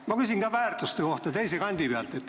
Ma küsin ka väärtuste kohta, aga teise kandi pealt.